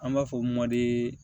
An b'a fɔ mɔdi